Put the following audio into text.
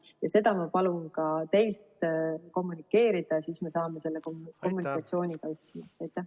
Ja seda ma palun ka teil kommunikeerida, siis me saame selle kommunikatsiooni paika.